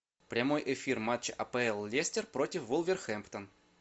прямой эфир матча апл лестер против вулверхэмптон